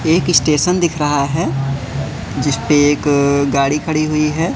एक स्टेशन दिख रहा हैं जिसपे एक गाड़ी खड़ी हुईं हैं।